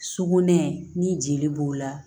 Sugunɛ ni jeli b'o la